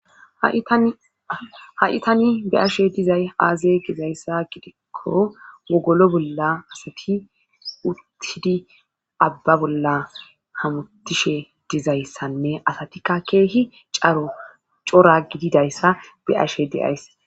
haitani be ashe dizay aaze gizayssa gidikko wogolo bolla asati uttidi abba bolla hamutishe dizayssanne asatikka keehi caro cora gididayssa be ashe deays